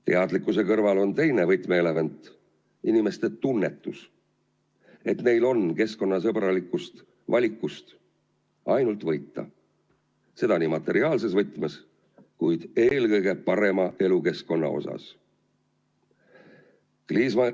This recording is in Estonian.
Teadlikkuse kõrval on teine võtmeelement inimeste tunnetus, et neil on keskkonnasõbralikust valikust ainult võita – seda materiaalses mõttes, kuid eelkõige parema elukeskkonna näol.